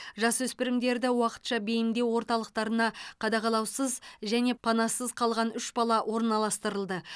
жасөспірімдерді уақытша бейімдеу орталықтарына қадағалаусыз және панасыз қалған үш бала орналастырылды